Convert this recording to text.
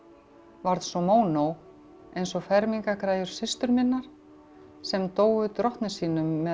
varð svo mónó eins og systur minnar sem dóu drottni sínum með